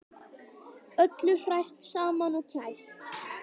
Öllu hrært saman og kælt